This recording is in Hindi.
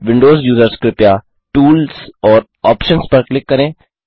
विंडोज यूज़र्स कृपया टूल्स और आप्शंस पर क्लिक करें